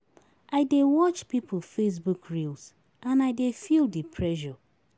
I dey watch pipo Facebook reels and I dey feel di pressure.